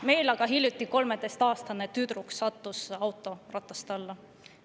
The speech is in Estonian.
Meil aga sattus hiljuti 13-aastane tüdruk autorataste alla.